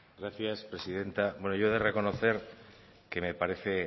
gracias presidenta bueno yo he de reconocer que me parece